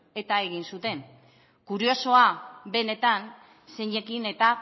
eta egin zuten kuriosoa benetan zeinekin eta